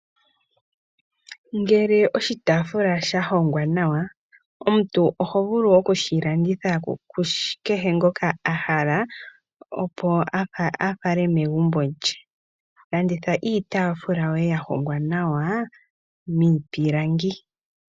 Ngele oshitaafula sha hongwa nawa, omuntu oho vulu oku shi landitha ku kehe ngoka ahala opo a fale megumbo lye. Landitha iitafula yoye ya hongwa nawa miipilangi.